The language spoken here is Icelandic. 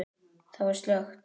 Þar var allt slökkt.